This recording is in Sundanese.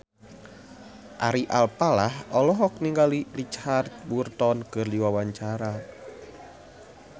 Ari Alfalah olohok ningali Richard Burton keur diwawancara